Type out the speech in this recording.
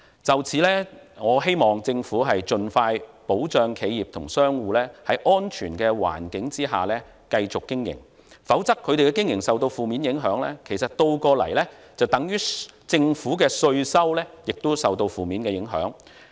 就此，我希望政府盡快保障企業及商戶在安全環境下繼續經營，否則他們的經營受到負面影響，倒過來等於政府的稅收亦受到負面影響。